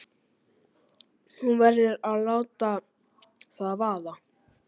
Hún verður að láta það vaða.